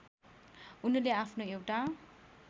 उनले आफ्नो एउटा